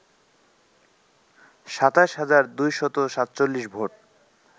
২৭ হাজার ২৪৭ ভোট